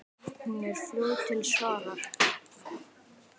Hún er fljót til svars.